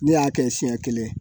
Ne y'a kɛ siɲɛ kelen